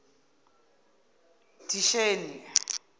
disheni